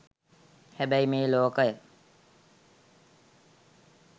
හැබැයි මේ ලෝකය